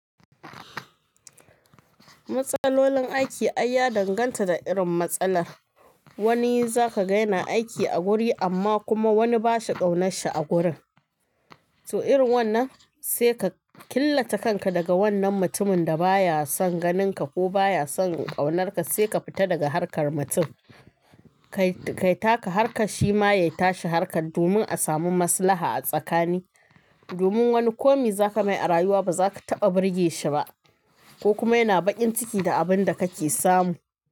Matsalolin aiki ai ya danganta da irin matsalar. Wani za ka gani na aiki a guri amma kuma wani ba shi tsaunarsa a gurin. To irin wannan sai ka killace kanka daga wannan mutumin da baya son ganinka ko baya son tsaunarka sai ka fita daga harkar mutum. Kai taka harka shi ma ya tashi harka domin a samu maslaha a tsakani. Domin wani komai za ka mai a rayuwa ba za ka taɓa burge shi ba ko kuma yana baƙin ciki da abin da kake samu.